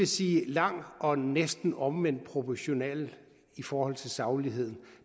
sige lang og næsten omvendt proportional i forhold til sagligheden